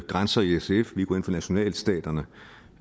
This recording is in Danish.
grænser i sf vi går ind for nationalstaterne